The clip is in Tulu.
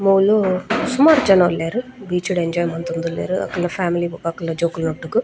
ಮೂಲು ಸುಮಾರ್ ಜನ ಉಲ್ಲೆರ್ ಬೀಚ್ ಡ್ ಎಂಜೋಯ್ ಮಂತೊಂದುಲ್ಲೆರ್ ಅಕಲ್ನ ಫ್ಯಾಮಿಲಿ ಬೊಕ ಅಕಲ್ನ ಜೋಕುಲ್ನೊಟ್ಟುಗು.